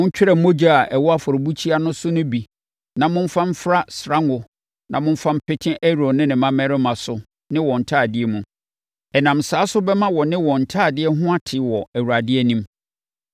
Montwerɛ mogya a ɛwɔ afɔrebukyia no so no bi na momfa mfra srango na momfa mpete Aaron ne ne mmammarima so ne wɔn ntadeɛ mu. Ɛnam saa so bɛma wɔne wɔn ntadeɛ ho ate wɔ Awurade anim.